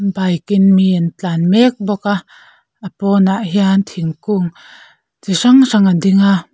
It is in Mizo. bike in mi an tlan mek bawk a a pawnah hian thingkung chi hrang hrang a ding a.